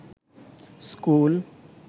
school